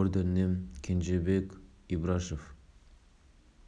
мемлекеттік наградалармен марапаттады